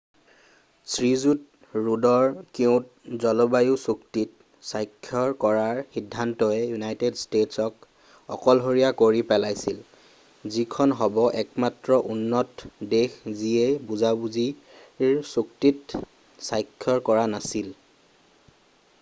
শ্ৰীযুত ৰুডৰ কিয়’ট’ জলবায়ু চুক্তিত স্বাক্ষৰ কৰাৰ সিদ্ধান্তই ইউনাইটেড ষ্টেট্‌ছক অকলশৰীয়া কৰি পেলাইছিল যিখন হ’ব একমাত্ৰ উন্নত দেশ যি এই বুজাবুজিৰ চুক্তিত স্বাক্ষৰ কৰা নাছিল।